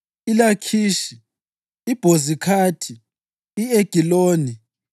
iLakhishi, iBhozikhathi, i-Egiloni,